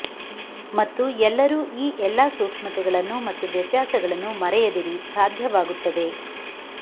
ಮತ್ತು ಎಲ್ಲರೂ ಈ ಎಲ್ಲಾ ಸೂಕ್ಷ್ಮತೆಗಳನ್ನು ಮತ್ತು ವ್ಯತ್ಯಾಸಗಳನ್ನು ಮರೆಯದಿರಿ ಸಾಧ್ಯವಾಗುತ್ತದೆ